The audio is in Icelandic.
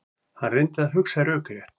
Hann reyndi að hugsa rökrétt.